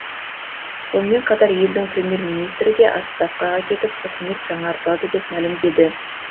сонымен қатар елдің премьер министрі де отставкаға кетіп үкімет жаңартылады деп мәлімдеді